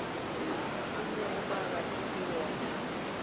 e lego mabapi le wona